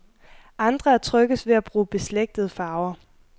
Andre er tryggest ved at bruge beslægtede farver.